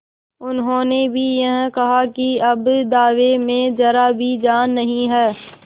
उन्होंने भी यही कहा कि अब दावे में जरा भी जान नहीं है